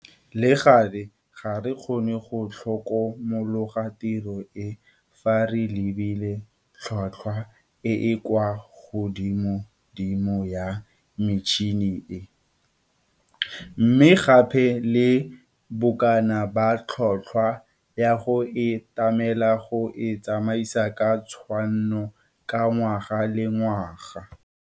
Le gale, ga re kgone go tlhokomologa tiro e fa re lebile tlhotlhwa e e kwa godimo ya metšhini e, mme gape le bokana ba tlhotlhwa ya go e tlamela go e tsamaisa ka tshwanno ka ngwaga le ngwaga.